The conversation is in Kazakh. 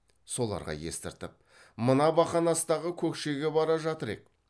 соларға естіртіп мына бақанастағы көкшеге бара жатыр ек